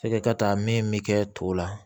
E ka taa min mi kɛ to la